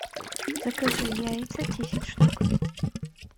закажи яйца десять штук